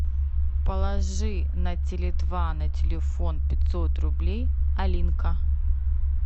положи на теле два на телефон пятьсот рублей алинка